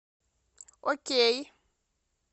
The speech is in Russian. окей